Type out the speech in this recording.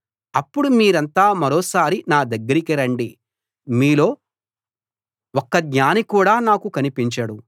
అప్పుడు మీరంతా మరోసారి నా దగ్గరికి రండి మీలో ఒక్క జ్ఞాని కూడా నాకు కనిపించడు